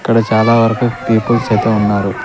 ఇక్కడ చాలా వరకు పీపుల్స్ ఐతే ఉన్నారు.